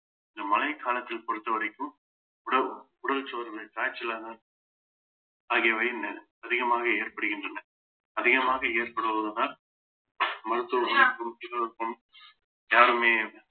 இந்த மழைக்காலத்தில் பொறுத்தவரைக்கும் உடல் உடல் சோர்வு காய்ச்சலாகவும் ஆகியவை இன்னும் அதிகமாக ஏற்படுகின்றன அதிகமாக ஏற்படுவதுதான் யாருமே